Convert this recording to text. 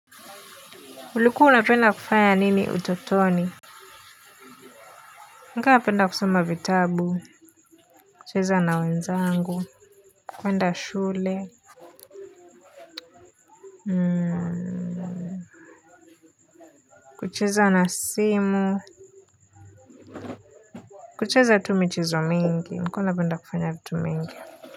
Ulikuwa unapenda kufanya nini utotoni? Nilikuwa napenda kusoma vitabu, kucheza na wenzangu, kwenda shule kucheza na simu kucheza tu michezo mingi nilikuwa napenda kufanya vitu mingi.